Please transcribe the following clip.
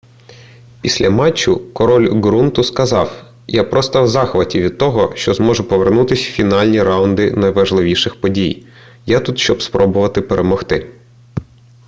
після матчу король ґрунту сказав я просто в захваті від того що зможу повернутися в фінальні раунди найважливіших подій я тут щоб спробувати перемогти